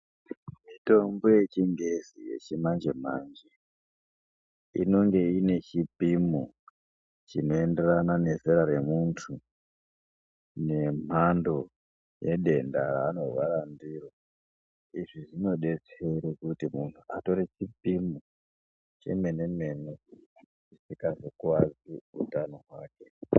Mitombo yechinhezi yechimanje manje inenge ine chipimo chinooenderana nezera remuntu nemhando yedenda raanorwara ndiroIzvi zvinodetsere kuti munhu atore chipimo chemene mene kuti aazokuwadze utano hwake.